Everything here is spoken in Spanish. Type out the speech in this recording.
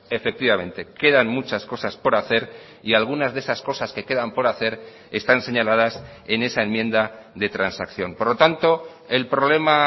efectivamente quedan muchas cosas por hacer y algunas de esas cosas que quedan por hacer están señaladas en esa enmienda de transacción por lo tanto el problema